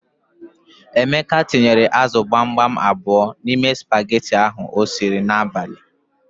Emeka tinyere ázụ̀ gbamgbam abụọ n'ime spageti ahụ o siri n'abalị.